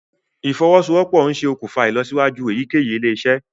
ìfowosowopo nṣe òkùnfà ìlọsíwájú eyikeyi ilé-isé